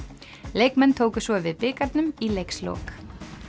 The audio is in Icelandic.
leikmenn tóku svo við bikarnum í leikslok